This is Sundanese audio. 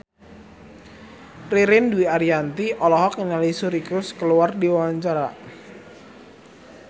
Ririn Dwi Ariyanti olohok ningali Suri Cruise keur diwawancara